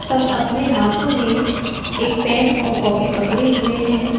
सब अपने हाथों में एक पेन और कॉपी पड़े हुए हैं।